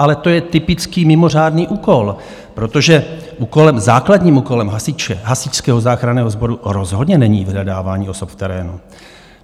Ale to je typický mimořádný úkol, protože základním úkolem hasiče, Hasičského záchranného sboru, rozhodně není vyhledávání osob v terénu.